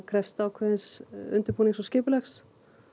krefst ákveðins undirbúnings og skipulags